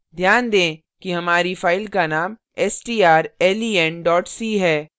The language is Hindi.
ध्यान दें कि हमारी file का name strlen c है